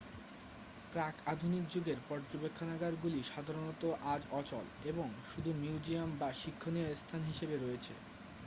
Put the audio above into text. প্রাক-আধুনিক যুগের পর্যবেক্ষণাগারগুলি সাধারণত আজ অচল এবং শুধু মিউজিয়াম বা শিক্ষণীয় স্থান হিসেবে রয়েছে